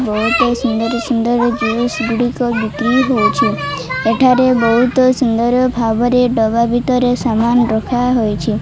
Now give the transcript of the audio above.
ବହୁତ ସୁନ୍ଦର ସୁନ୍ଦର ଡ୍ରେସ ଗୁଡିକ ବିକ୍ରି ହଉଛି ଏଠାରେ ବହୁତ ସୁନ୍ଦର ଭାବରେ ଡବା ଭିତରେ ସାମାନ ରଖାହେଇଛି।